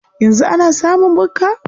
Yanzu ana samun bukka?